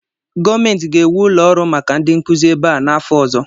Gọọmenti ga-ewu ụlọ ọrụ maka ndị nkuzi ebe a n'afọ ọzọ